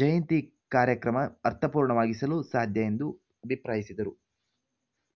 ಜಯಂತಿ ಕಾರ್ಯಕ್ರಮ ಅರ್ಥಪೂರ್ಣವಾಗಿಸಲು ಸಾಧ್ಯ ಎಂದು ಅಭಿಪ್ರಾಯಿಸಿದರು